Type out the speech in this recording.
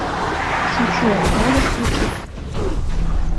шучу можешь включить